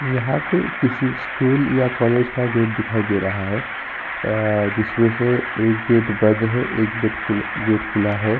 यहाँ पे किसी स्कूल या कॉलेज का गेट दिखाई दे रहा है। आ जिसमे से एक गेट बंद है। एक गेट खुल गेट खुला है।